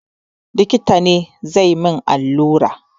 Likita ne zai yi min allura.